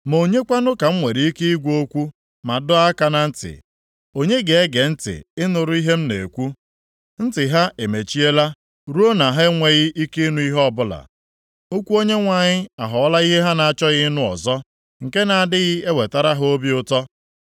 Ma onye kwanụ ka m nwere ike ịgwa okwu ma dọọ aka na ntị? Onye ga-ege ntị ịnụrụ ihe m na-ekwu? Ntị ha emechiela ruo na ha enweghị ike ịnụ ihe ọbụla. Okwu Onyenwe anyị aghọọla ihe ha na-achọghị ịnụ ọzọ; nke na-adịghị ewetara ha obi ụtọ.